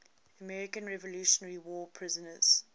american revolutionary war prisoners